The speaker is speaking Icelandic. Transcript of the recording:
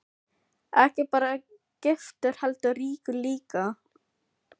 Ekki bara giftur heldur ríkur líka.